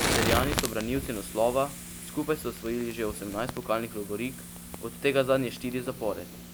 Celjani so branilci naslova, skupaj so osvojili že osemnajst pokalnih lovorik, od tega zadnje štiri zapored.